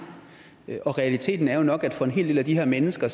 og realiteten er jo nok at for en hel del af de her mennesker